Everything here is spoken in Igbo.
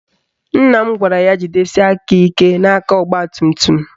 Nna m gwara ya jidesie aka ike n'aka ọgbatumtum